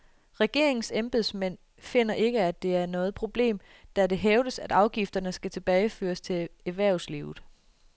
Regeringens embedsmænd finder ikke, at det er noget problem, da det hævdes, at afgifterne skal tilbageføres til erhvervslivet.